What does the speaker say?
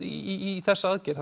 í þessar aðgerð